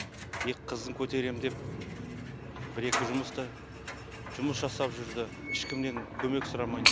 екі қызын көтеремін деп бір екі жұмыста жұмыс жасап жүрді ешкімнен көмек сұрамай